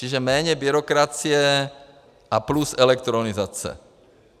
Čili méně byrokracie a plus elektronizace.